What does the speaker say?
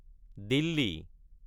Delhi